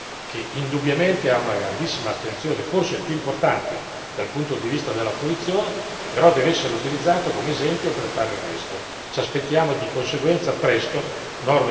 La musica è un segmento, un settore che indubbiamente ha una grandissima attenzione, forse il più importante dal punto di vista della fruizione, però deve essere utilizzato come esempio per fare il resto.